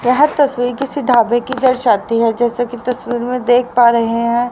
यह तस्वीर किसी ढाबे कि दर्शाती है जैसे की तस्वीर में देख पा रहे हैं।